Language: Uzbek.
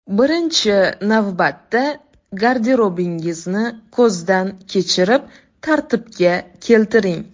Birinchi navbatda garderobingizni ko‘zdan kechirib, tartibga keltiring.